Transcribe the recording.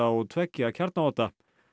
og tveggja kjarnaodda